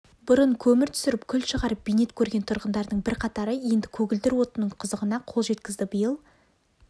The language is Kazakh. бұрын көмір түсіріп күл шығарып бейнет көрген тұрғындардың бірқатары енді көгілдір отынның қызығына қол жеткізді биыл